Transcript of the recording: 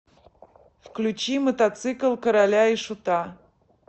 включи мотоцикл короля и шута